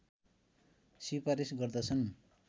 सिफारिश गर्दछन्